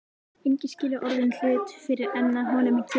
Enginn skilur orðinn hlut fyrr en að honum kemur.